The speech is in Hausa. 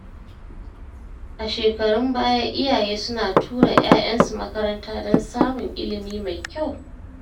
A shekarun baya, iyaye suna tura ‘ya’yansu makaranta don samun ilimi mai kyau.